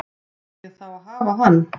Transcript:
Fæ ég þá að hafa hann?